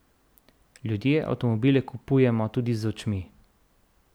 Ljudje avtomobile kupujemo tudi z očmi.